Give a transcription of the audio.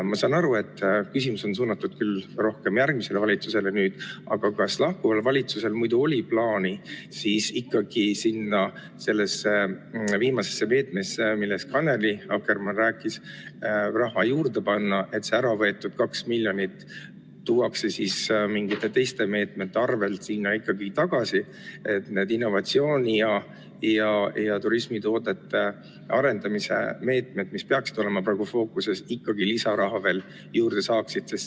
Ma saan aru, et see küsimus on suunatud küll rohkem järgmisele valitsusele, aga kas lahkuval valitsusel muidu oli plaanis sellesse viimasesse meetmesse, millest Annely Akkermann rääkis, raha juurde panna, et sealt ära võetud 2 miljonit eurot mingisuguste teiste meetmete arvel sinna tagasi tuua, et need innovatsiooni ja turismitoodete arendamise meetmed, mis peaksid praegu fookuses olema, ikkagi lisaraha juurde saaksid?